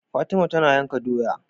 Fatima tana yanka doya